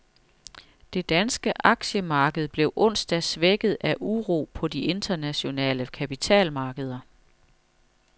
Det danske aktiemarked blev onsdag svækket af uro på de internationale kapitalmarkeder.